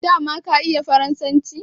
dama ka iya faransanci